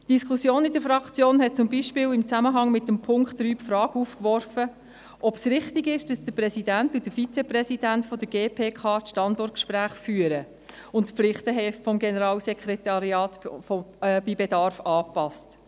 Die Diskussion in der Fraktion hat zum Beispiel n Zusammenhang mit Punkt 3 die Frage aufgeworfen, ob es richtig sei, dass der Präsident und der Vizepräsident der GPK die Standortgespräche führen und das Pflichtenheft des Generalsekretariats bei Bedarf anpassen.